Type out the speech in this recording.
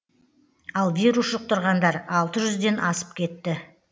ал вирус жұқтырғандар алты жүзден асып кетті